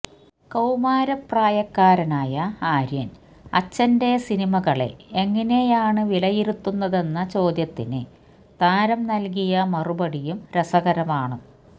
കൌമാര പ്രായക്കാരനായ ആര്യന് അച്ഛന്റെ സിനിമകളെ എങ്ങനെയാണ് വിലയിരുത്തുന്നതെന്ന ചെദ്യത്തിന് താരം നല്കിയ മറുപടിയും രസകരമാണ്